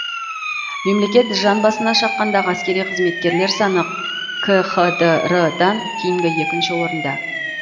мемлекет жан басына шаққандағы әскери қызметкерлер саны бойынша кхдр дан кейінгі екінші орында